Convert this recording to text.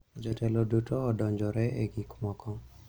Jotelo duto odonjore e gik moko.